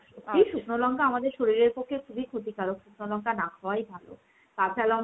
শুকনো লঙ্কা আমাদের শরীরের পক্ষে খুবই ক্ষতিকারক। শুকনো লঙ্কা না খাওয়াই ভালো। কাঁচা লঙ্কা